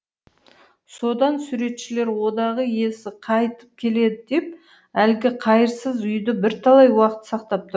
содан суретшілер одағы иесі қайтып келеді деп әлгі қайырсыз үйді бірталай уақыт сақтап тұр